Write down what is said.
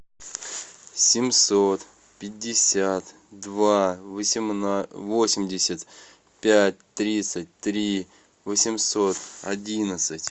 семьсот пятьдесят два восемьдесят пять тридцать три восемьсот одиннадцать